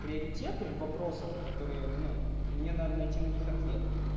приоритеты в вопросах которые ну мне надо найти на них ответ